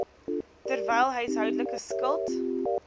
terwyl huishoudelike skuld